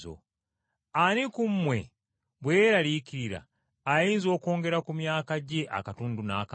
Ani ku mmwe bwe yeeraliikirira, ayinza okwongerayo obulamu bwe akatundu n’akamu?